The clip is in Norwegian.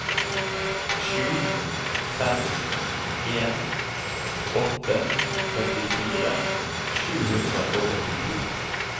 sju fem en åtte førtifire sju hundre og åttito